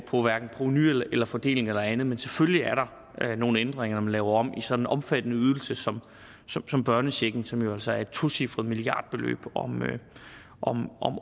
provenu eller fordeling eller andet men selvfølgelig er der nogle ændringer når man laver om i sådan en omfattende ydelse som som børnechecken som altså er et tocifret milliardbeløb om